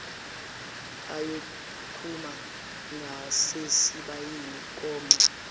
ayokuma ngasesibayeni kome